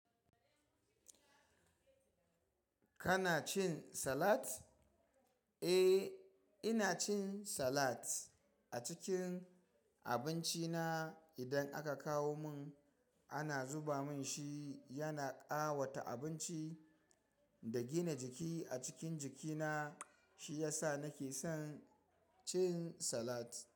Kana cin salat? Eh, ina cin salat a cikin abinci na. Idan aka kawo mun ana zuba mun shi, yana ƙawata abinci da gina jiki a cikin jikina. Shi yasa nake son cin salat.